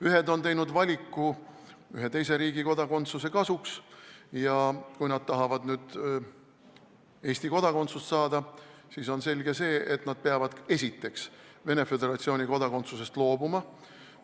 Ühed on teinud valiku ühe teise riigi kodakondsuse kasuks ja kui nad tahavad nüüd Eesti kodakondsust saada, siis on selge, et nad peavad Venemaa Föderatsiooni kodakondsusest loobuma.